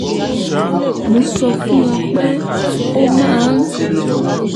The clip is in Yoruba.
mo sọ fún wọn pé ó máa ń